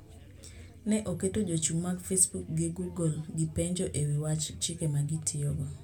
Ne oketo jochung` mag Facebook gi Google gi penjo e wi wach chike ma gitiyogo.